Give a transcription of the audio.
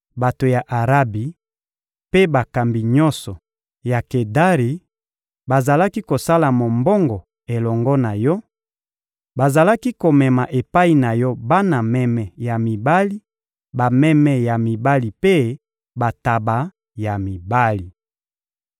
Bato ya Arabi mpe bakambi nyonso ya Kedari bazalaki kosala mombongo elongo na yo; bazalaki komema epai na yo bana meme ya mibali, bameme ya mibali mpe bantaba ya mibali.